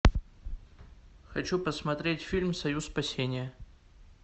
хочу посмотреть фильм союз спасения